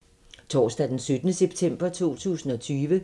Torsdag d. 17. september 2020